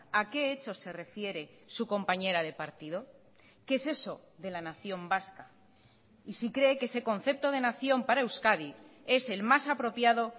a qué hechos se refiere su compañera de partido qué es eso de la nación vasca y si cree que ese concepto de nación para euskadi es el mas apropiado